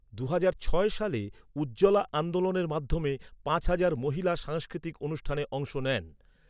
দুহাজার ছয় সালে ‘উজ্জ্বলা আন্দোলনের' মাধ্যমে পাঁচ হাজার মহিলা সাংস্কৃতিক অনুষ্ঠানে অংশ নেন।